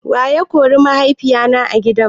Wa ya kori mahaifina a gida?